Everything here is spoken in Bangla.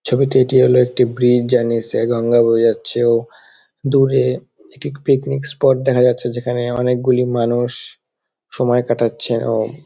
ছবিটি এটি হলো একটি ব্রিজ যার নিচে দিয়ে গঙ্গা বয়ে যাচ্ছে | দূরে একটি পিকনিক স্পট দেখা যাচ্ছে যেখানে অনেক গুলি মানুষ সময় কাটাচ্ছে | এবং --